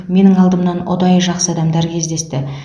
менің алдымнан ұдайы жақсы адамдар кезікті